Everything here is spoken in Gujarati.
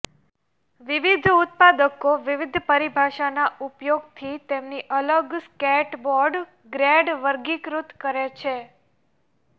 વિવિધ ઉત્પાદકો વિવિધ પરિભાષાના ઉપયોગથી તેમની અલગ સ્કેટબોર્ડ ગ્રેડ વર્ગીકૃત કરે છે